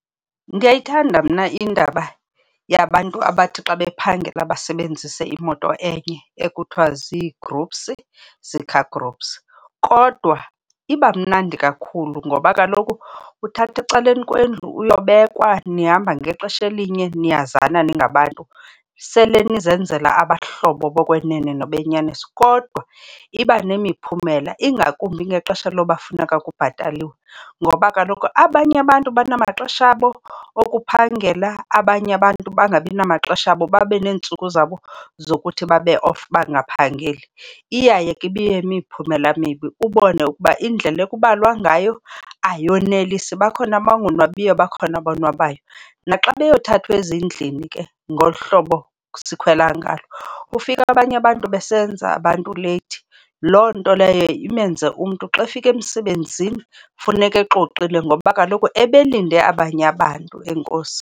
Ndiyayithanda mna indaba yabantu abathi xa bephangela basebenzise imoto enye ekuthiwa zii-groups, zii-car groups, kodwa iba mnandi kakhulu ngoba kaloku uthathwa ecaleni kwendlu uyobekwa. Nihamba ngexesha elinye, niyazana ningabantu, sele nizenzela abahlobo bokwenene nabenyaniso. Kodwa iba nemiphumela, ingakumbi ngexesha loba kufuneka kubhataliwe ngoba kaloku abanye abantu banamaxesha abo okuphangela, abanye abantu bangabi namaxesha abo babe neentsuku zabo zokuthi babe off bangaphangeli. Iyaye ke ibiyimiphumela emibi, ubone ukuba indlela ekubalwa ngayo ayonelisi. Bakhona abangonwabiyo, bakhona abonwabayo. Naxa beyothathwa ezindlini ke ngolu hlobo sikhwela ngalo ufike abanye abantu besenza abantu leyithi, loo nto leyo imenze umntu xa efika emsebenzini funeka exoxile ngoba kaloku ebelinde abanye abantu. Enkosi.